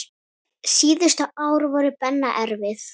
Síðustu ár voru Benna erfið.